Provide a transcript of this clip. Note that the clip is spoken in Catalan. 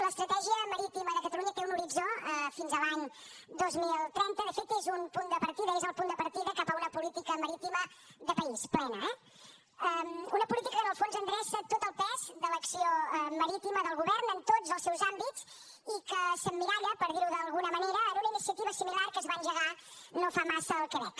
l’estratègia marítima de catalunya té un horitzó fins a l’any dos mil trenta de fet és un punt de partida és el punt de partida cap a una política marítima de país plena eh una política que en el fons endreça tot el pes de l’acció marítima del govern en tots els seus àmbits i que s’emmiralla per dir ho d’alguna manera en una iniciativa similar que es va engegar no fa massa al quebec